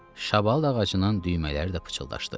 Şabalıd ağacının düymələri də pıçıldaşdı.